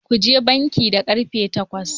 Kuje banki da karfe takwas.